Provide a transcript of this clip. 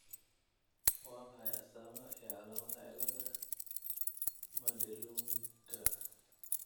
Waa maxay astaamaha iyo calaamadaha cillada Madelungka?